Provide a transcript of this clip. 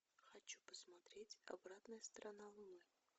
хочу посмотреть обратная сторона луны